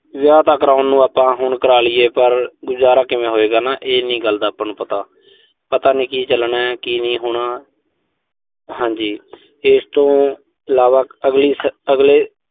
ਵਿਆਹ ਤਾਂ ਕਰਾਉਣ ਨੂੰ ਆਪਾਂ ਹੁਣ ਕਰਾ ਲੀਏ, ਪਰ ਗੁਜ਼ਾਰਾ ਕਿਵੇਂ ਹੋਏਗਾ ਨਾ, ਇਹ ਨੀਂ ਗੱਲ ਦਾ ਆਪਾਂ ਨੂੰ ਪਤਾ। ਪਤਾ ਨਈਂ ਕੀ ਚੱਲਣੈ, ਕੀ ਨਹੀਂ ਹੋਣਾ ਹਾਂਜੀ। ਇਸ ਤੋਂ ਇਲਾਵਾ ਅਗਲੇ